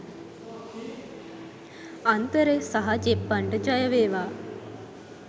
අන්තරය සහ ජෙප්පන්ට ජය වේවා